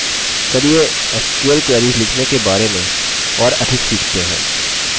चलिए sql queries लिखने के बारे में और अधिक सीखते हैं